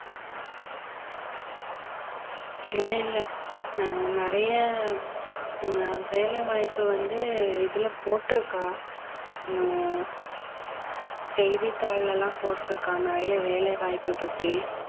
இல்லை இல்லை ஹம் நிறைய ஹம் வேலை வாய்ப்பு வந்து இதிலே போட்டிருக்கான் ஹம் செய்தித்தாள்ல எல்லாம் போட்டிருக்கான் நிறைய வேலை வாய்ப்பு பத்தி